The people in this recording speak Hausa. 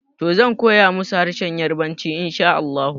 Toh, zan koya musu harshen yarbanci inshaAllahu